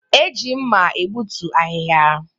E ji mma egbutu ahịhịa